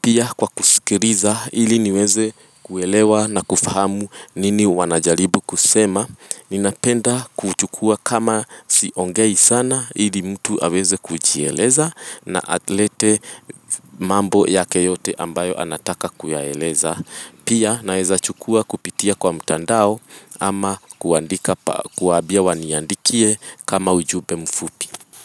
pia kwa kusikiliza ili niweze kuelewa na kufahamu nini wanajaribu kusema. Ninapenda kuchukua kama siongei sana ili mtu aweze kujieleza na alete mambo yake yote ambayo anataka kuyaeleza. Pia naweza chukua kupitia kwa mtandao ama kuandika pa kuwaambia waniandikie kama ujumbe mfupi.